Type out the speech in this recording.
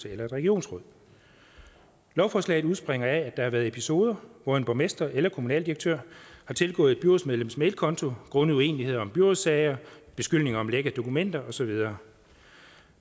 eller et regionsråd lovforslaget udspringer af at der har været episoder hvor en borgmester eller en kommunaldirektør har tilgået et byrådsmedlems mailkonto grundet uenighed om byrådssager beskyldninger om læk af dokumenter og så videre